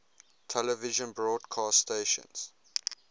television broadcast stations